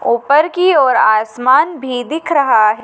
ऊपर की ओर आसमान भी दिख रहा--